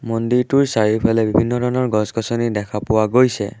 মন্দিৰটোৰ চাৰিওফালে বিভিন্ন ধৰণৰ গছ-গছনি দেখা পোৱা গৈছে।